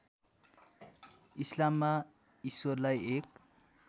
इस्लाममा ईश्वरलाई एक